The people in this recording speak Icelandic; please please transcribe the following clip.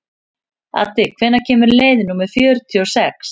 Addi, hvenær kemur leið númer fjörutíu og sex?